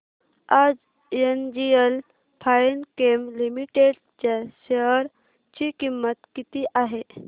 आज NGL Finechem limited च्या share ची किंमत किती आहे